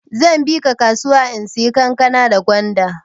Zan bika kasuya in saya kankana da gwanda.